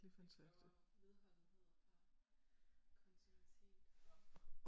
Det kræver vedholdenhed og kontinuitet og